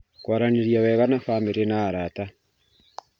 Kũaranĩria wega na bamĩrĩ na arata